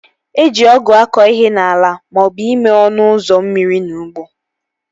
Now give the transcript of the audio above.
Eji ọgụ akọ ihe n'ala maọbụ ime ọnụ ụzọ mmiri n'ụgbọ